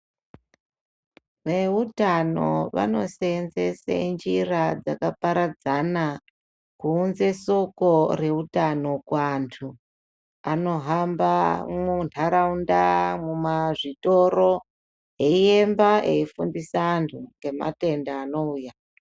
Veutano vanoseenzese njira dzakaparadzana, kuunze soko reutano kuantu anohamba mwundaraunda, mumazvitoro eyiyemba eyifundisa antu ngematenda anouya.